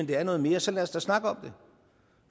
det er noget mere så lad os da snakke om det